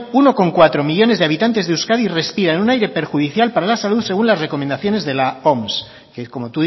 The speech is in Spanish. uno coma cuatro millónes de habitantes de euskadi respiran un aire perjudicial para la salud según las recomendaciones de la oms que como